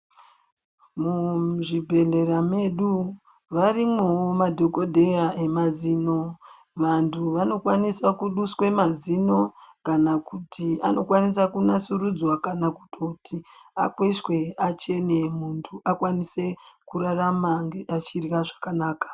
Muzvibhedhlera medu varimo madhokodheya emazino. Vantu vanokwanisa kuduswe mazino kana kuti anokwanise kunasurudzva kana kutoti akweshwe achene muntu akwanise kurarama achidlya zvakanaka.